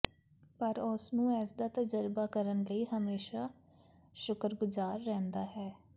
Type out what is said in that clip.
ਪਰ ਉਸ ਨੂੰ ਇਸ ਦਾ ਤਜਰਬਾ ਕਰਨ ਲਈ ਹਮੇਸ਼ਾ ਸ਼ੁਕਰਗੁਜ਼ਾਰ ਰਹਿੰਦਾ ਹੈ